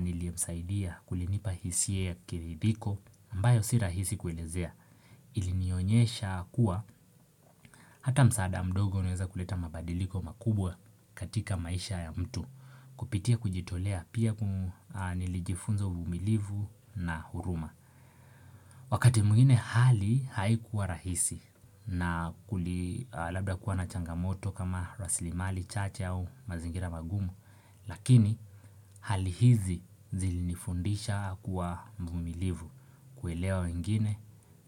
Niliemsaidia kulinipa hisia kiridhiko ambayo sirahisi kuelezea Ilinionyesha kuwa Hata msaada mdogo unaweza kuleta mabadiliko makubwa katika maisha ya mtu Kupitia kujitolea pia nilijifunza uvumilivu na huruma Wakati mwingine hali haikuwa rahisi na kuli labda kuwa na changamoto kama raslimali, chache au mazingira magumu Lakini hali hizi zilinifundisha kuwa mvumilivu kuelewa wengine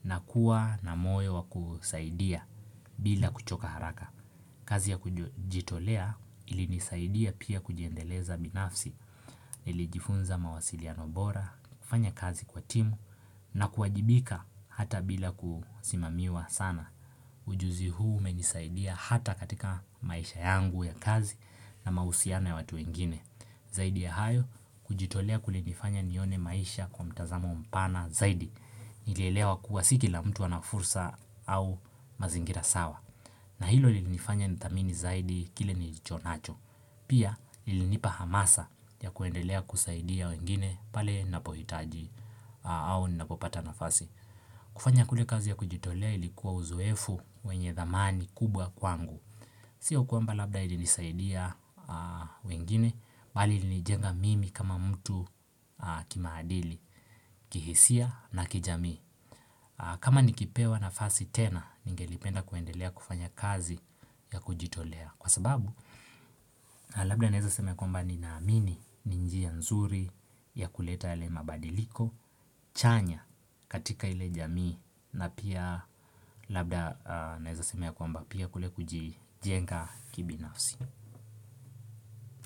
na kuwa na moyo wa kusaidia bila kuchoka haraka kazi ya kujitolea ilinisaidia pia kujiendeleza binafsi Nilijifunza mawasiliano bora, kufanya kazi kwa timu na kuwajibika hata bila kusimamiwa sana Ujuzi huu umenisaidia hata katika maisha yangu ya kazi na mahusiana ya watu wengine Zaidi ya hayo, kujitolea kulinifanya nione maisha kwa mtazamo mpana zaidi Nilielewa kuwa si kila mtu ana fursa au mazingira sawa na hilo linifanya ni thamini zaidi kile nilichonacho Pia ilinipa hamasa ya kuendelea kusaidia wengine pale napohitaji au ninapopata nafasi. Kufanya kule kazi ya kujitolea ilikuwa uzoefu wenye dhamani kubwa kwangu. Sio kwamba labda ilinisaidia wengine, bali ilinijenga mimi kama mtu kimaadili, kihisia na kijami. Kama nikipewa nafasi tena, ningelipenda kuendelea kufanya kazi ya kujitolea. Kwa sababu, labda naeza sema ya kwamba ni naamini ni njia nzuri ya kuleta yale mabadiliko, chanya katika ile jamii na pia labda naeza sema ya kwamba pia kule kujijenga kibinafsi.